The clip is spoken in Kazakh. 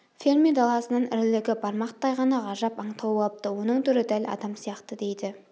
фермер даласынан ірілігі бармақтай ғана ғажап аң тауып алыпты оның түрі дәл адам сияқты дейді